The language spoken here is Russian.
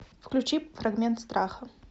включи фрагмент страха